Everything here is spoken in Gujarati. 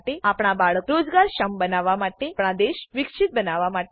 આપણા બાળકો રોજગારક્ષમ બનાવવા માટે આપણા દેશને વિકસિત બનાવવા માટે ડો